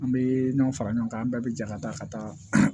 An bɛ ɲɔn fara ɲɔgɔn kan an bɛɛ bɛ jɛ ka taa ka taa